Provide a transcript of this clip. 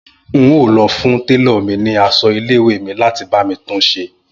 N óò lọ fún télọ̀ ni aṣọ ilé ìwé mi láti bá mi tun ṣe